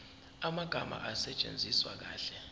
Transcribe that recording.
amagama asetshenziswe kahle